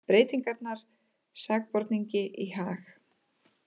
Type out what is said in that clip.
Breytingarnar sakborningi í hag